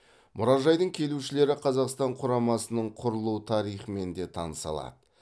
мұражайдың келушілері қазақстан құрамасының құрылу тарихымен де таныса алды